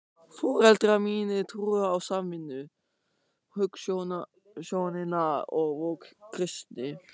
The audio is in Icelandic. Foreldrar mínir trúðu á samvinnu- hugsjónina og voru kristnir.